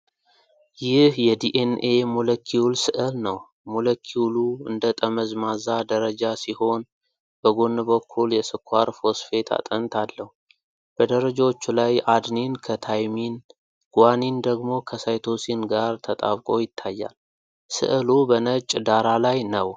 ይህ የዲኤንኤ ሞለኪውል ሥዕል ነው። ሞለኪዩሉ እንደ ጠመዝማዛ ደረጃ ሲሆን፣ በጎን በኩል የስኳር ፎስፌት አጥንት አለው። በደረጃዎቹ ላይ አድኒን ከታይሚን፣ ጓኒን ደግሞ ከሳይቶሲን ጋር ተጣብቆ ይታያል። ሥዕሉ በነጭ ዳራ ላይ ነው።